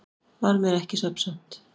Varð mér ekki svefnsamt.